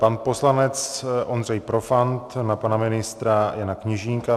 Pan poslanec Ondřej Profant na pana ministra Jana Kněžínka.